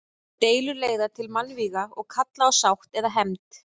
Deilur leiða til mannvíga og kalla á sátt eða hefnd.